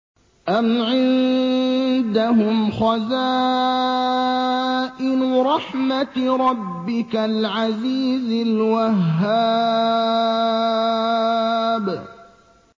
أَمْ عِندَهُمْ خَزَائِنُ رَحْمَةِ رَبِّكَ الْعَزِيزِ الْوَهَّابِ